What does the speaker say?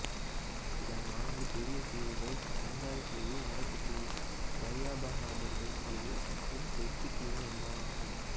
இதன் நான்கு பெரிய தீவுகள் தேங்காய் தீவு வடக்கு தீவு தர்யபஹதர்கர் தீவு மற்றும் தெற்கு தீவு என்பனவாகும்